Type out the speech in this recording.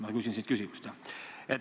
Ma küsin siin küsimust ...